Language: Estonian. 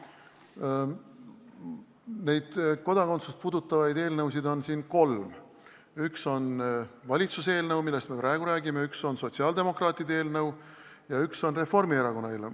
Neid kodakondsust puudutavaid eelnõusid on siin kolm: üks on valitsuse eelnõu, millest me praegu räägime, üks on sotsiaaldemokraatide eelnõu ja üks on Reformierakonna eelnõu.